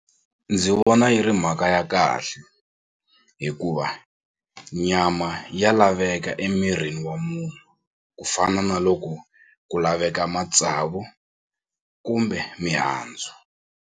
Ndzi vona yi ri mhaka ya kahle hikuva nyama ya laveka emirini wa munhu ku fana na loko ku laveka matsavu kumbe mihandzu.